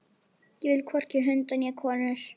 Ég vil hvorki hunda né konur.